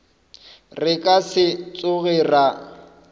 re ka se tsoge ra